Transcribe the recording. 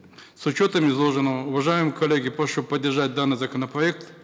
с учетом изложенного уважаемые коллеги прошу поддержать данный законопроект